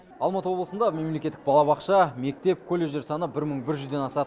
алматы облысында мемлекеттік балабақша мектеп колледждер саны бір мың бір жүзден асады